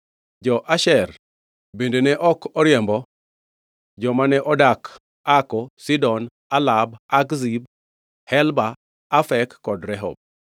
Jo-Asher bende ne ok oriembo joma ne odak Ako, Sidon, Alab, Akzib, Helba, Afek, kod Rehob,